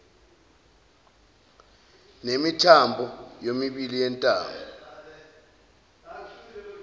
nemithambo yomibili yentamo